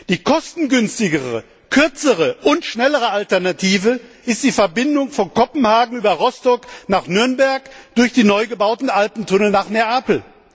Die kostengünstigere, kürzere und schnellere Alternative ist die Verbindung von Kopenhagen über Rostock nach Nürnberg durch die neu gebauten Alpentunnel nach Neapel.